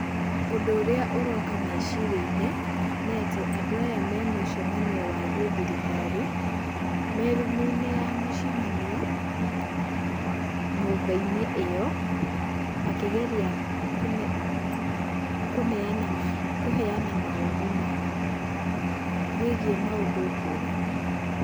Ũndũ ũrĩa ũroka meciria-inĩ nĩatĩ, adũ aya memũcemanio-inĩ wa gĩthirikari merumu-inĩ ya mũcemanio nyũmba-inĩ ĩyo makĩgeria kũneana, kũheana mawoni mao wĩgiĩ maũndũ ngũrani.